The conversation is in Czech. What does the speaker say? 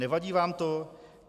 Nevadí vám to?